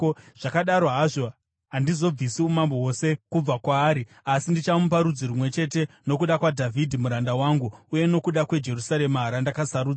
Zvakadaro hazvo, handizobvisi umambo hwose, kubva kwaari, asi ndichamupa rudzi rumwe chete nokuda kwaDhavhidhi muranda wangu uye nokuda kweJerusarema, randakasarudza.”